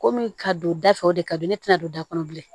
Komi ka don da fɛ o de ka di ne tɛna don da kɔnɔ bilen